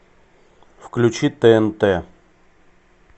включи тнт